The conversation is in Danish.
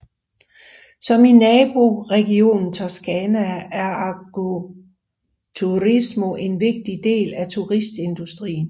Som i naboregionen Toscana er Agriturismo en vigtig del af turistindustrien